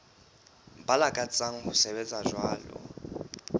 ba lakatsang ho sebetsa jwalo